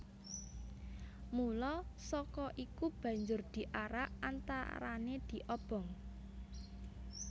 Mula saka iku banjur diarak antarané diobong